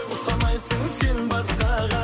ұқсамайсың сен басқаға